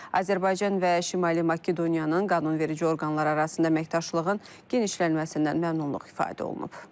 Azərbaycan və Şimali Makedoniyanın qanunverici orqanları arasında əməkdaşlığın genişlənməsindən məmnunluq ifadə olunub.